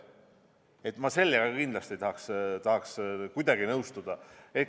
Nii et ma sellega kindlasti ei tahaks kuidagi nõustuda.